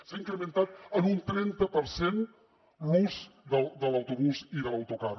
s’ha incrementat en un trenta per cent l’ús de l’autobús i de l’autocar